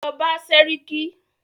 Lọ bá sẹ́ríkí!